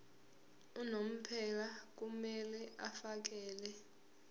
unomphela kumele afakele